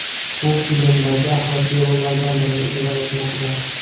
U filmdagi asosiy rollardan birini ijro etmoqda.